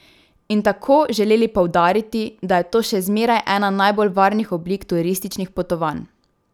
In tako želeli poudariti, da je to še zmeraj ena najbolj varnih oblik turističnih potovanj.